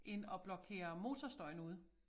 End at blokere motorstøjen ude